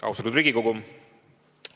Austatud Riigikogu!